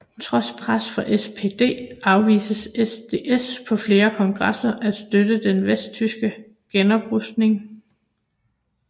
Trods pres fra SPD afviste SDS på flere kongresser at støtte den vesttyske genoprustning